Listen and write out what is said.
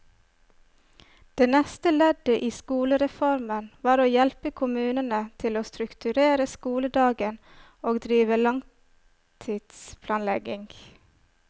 Det neste leddet i skolereformen var å hjelpe kommunene til å strukturere skoledagen og drive langtidsplanlegging.